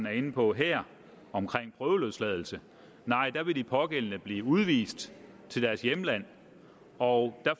er inde på her om prøveløsladelse nej der vil de pågældende blive udvist til deres hjemland og der